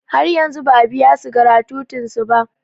Har yanzu ba a biyansu gratutin su ba.